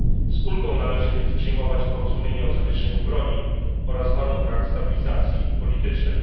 Z ulgą należy więc przyjmować porozumienie o zawieszeniu broni oraz warunkach stabilizacji politycznej.